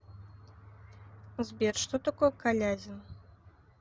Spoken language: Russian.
сбер что такое калязин